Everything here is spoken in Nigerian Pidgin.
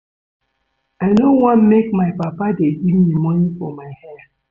I no wan make my papa dey give me money for my hair